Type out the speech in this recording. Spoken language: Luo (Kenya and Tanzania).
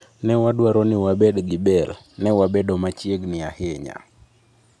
Ne wadwaro ni wabed gi Bale. Ne wabedo machiegni ahinya.